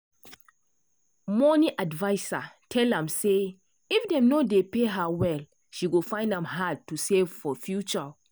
money adviser tell am say if dem no dey pay her well she go find am hard to save for future.